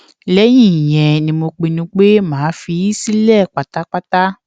lẹyìn ìyẹn ni mo pinnu pé màá fi í sílẹ pátápátá